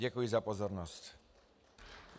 Děkuji za pozornost.